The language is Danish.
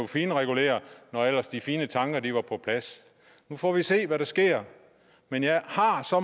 finregulere når ellers de fine tanker var på plads nu får vi se hvad der sker men jeg har så